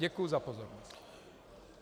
Děkuji za pozornost.